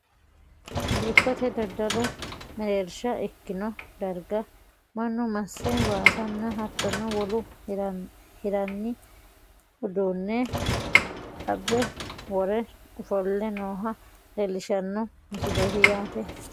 dikkote daddalu mereersha ikkino darga mannu masse waasanna hattono wole hirranni uduunne abbe wore ofo'le nooha leelishshanno misileeti yaate tini.